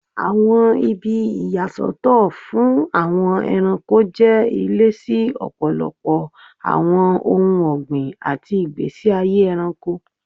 Awọn ibi iya Soto fun Awon eranko je ile si ọpọlọpọ awọn ohun ọgbin ati igbesi aye ẹranko.